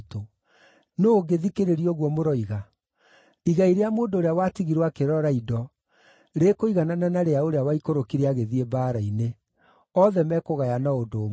Nũũ ũngĩthikĩrĩria ũguo mũroiga? Igai rĩa mũndũ ũrĩa watigirwo akĩrora indo rĩkũiganana na rĩa ũrĩa waikũrũkire agĩthiĩ mbaara-inĩ. Othe mekũgayana o ũndũ ũmwe.”